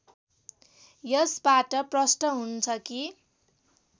यसबाट प्रष्ट हुन्छ कि